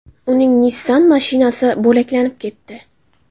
Uning Nissan mashinasi bo‘laklanib ketdi.